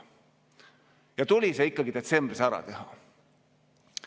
Ja tuli see ikkagi detsembris ära teha.